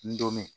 N don